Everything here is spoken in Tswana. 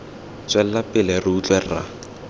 tswela pele re utlwe rra